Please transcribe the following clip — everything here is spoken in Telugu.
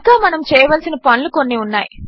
ఇంకా మనము చేయవలసిన పనులు కొన్ని ఉన్నాయి